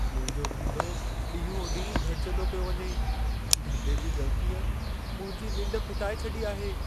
मुंहिंजो धंधो ॾींहों-ॾींहुं घटिजंदो पियो वञे। धंधे जी ॻणितीअ मुंहिंजी निंढ फिटाए छॾी आहे।